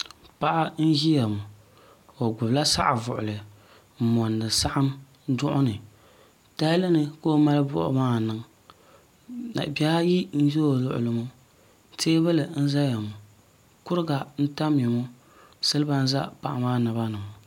Paɣa n ʒiya ŋɔ o gbubila saɣivuɣuli n mondi saɣim duɣuni tahalini ka o mali buɣim maa niŋ labihi ayi n za o luɣuli ni teebuli n zaya ŋɔ kuriga n tamya ŋɔ siliba n za paɣa maa naba ni ŋɔ.